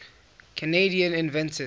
canadian inventors